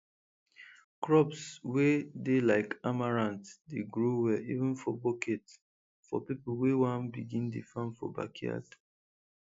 crops wey dey like amaranth dey grow well even for bucket for people wey wan begin dey farm for backyard